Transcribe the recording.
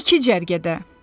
İki cərgədə.